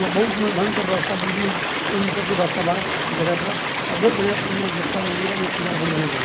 यहाँ बहुत मं ढंग के व्वस्था बिजली के भी सबके व्वस्था बा इ जगह पर अ बहुत बढ़िया मनअ मंदिरबा जे यहां पूजा बड़ी बढ़िया से हो --